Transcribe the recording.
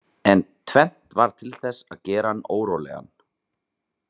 En tvennt varð til þess að gera hann órólegan.